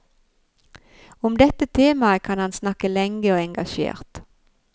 Om dette temaet kan han snakke lenge og engasjert.